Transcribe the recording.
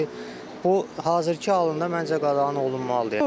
Amma ki, bu hazırkı halında məncə qadağan olunmalıdır.